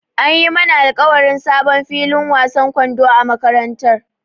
An yi mana alƙawarin sabon filin wasan kwando a makarantara.